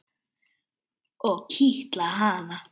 Og kitla hana.